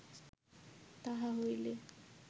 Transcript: তাহা হইলে